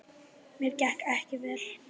Mér gekk vel.